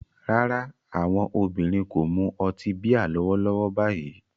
Rárá, àwọn obìnrin kò mu ọtí bíà lọ́wọ́lọ́wọ́ báyìí